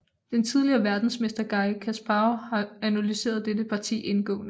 Den tidligere verdensmester Garri Kasparov har analyseret dette parti indgående